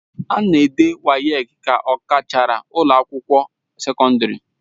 A na-ede WAEC ka a gachara ụlọ akwụkwọ sekọndrị.